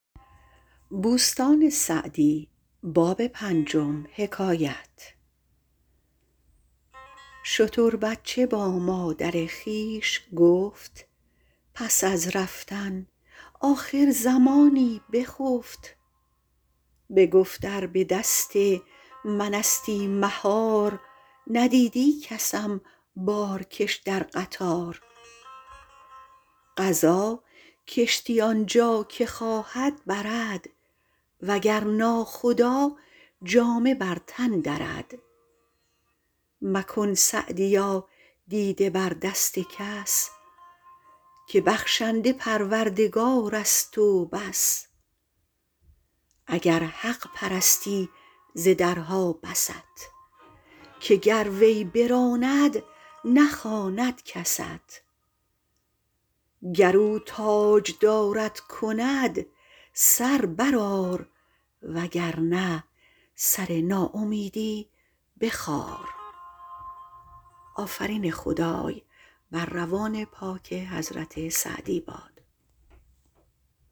شتر بچه با مادر خویش گفت پس از رفتن آخر زمانی بخفت بگفت ار به دست من استی مهار ندیدی کسم بارکش در قطار قضا کشتی آنجا که خواهد برد وگر ناخدا جامه بر تن درد مکن سعدیا دیده بر دست کس که بخشنده پروردگار است و بس اگر حق پرستی ز درها بست که گر وی براند نخواند کست گر او تاجدارت کند سر بر آر وگر نه سر ناامیدی بخار